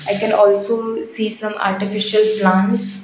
i can also see some artificial plants.